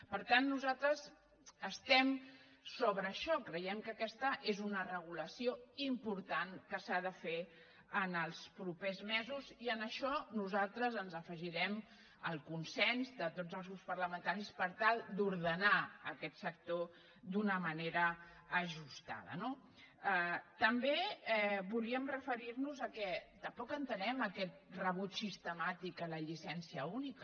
per tant nosaltres estem sobre això creiem que aquesta és una regulació important que s’ha de fer en els propers mesos i en això nosaltres ens afegirem al consens de tots els grups parlamentaris per tal d’ordenar aquest sector d’una manera ajustada no també volíem referir nos al fet que tampoc entenem aquest rebuig sistemàtic a la llicència única